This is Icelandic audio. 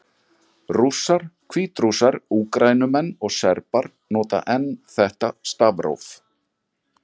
Rússar, Hvítrússar, Úkraínumenn og Serbar nota enn þetta stafróf.